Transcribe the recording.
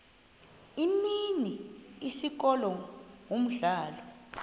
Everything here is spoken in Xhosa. imini isikolo umdlalo